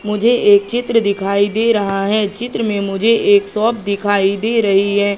मुझे एक चित्र दिखाई दे रहा है चित्र में मुझे एक सॉप दिखाई दे रही है।